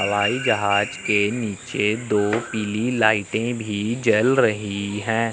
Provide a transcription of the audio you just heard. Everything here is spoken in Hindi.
हवाईजहाज के नीचे दो पीली लाइटें भी जल रही हैं।